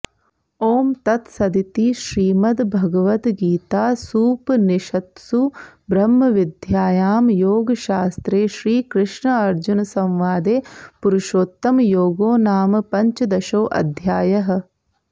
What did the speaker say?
ॐ तत्सदिति श्रीमद्भगवद्गीतासूपनिषत्सु ब्रह्मविद्यायां योगशास्त्रे श्रीकृष्णार्जुनसंवादे पुरुषोत्तमयोगो नाम पञ्चदशोऽध्यायः